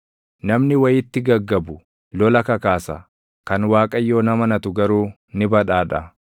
Namni wayitti gaggabu lola kakaasa; kan Waaqayyoon amanatu garuu ni badhaadha.